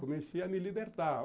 Comecei a me libertar.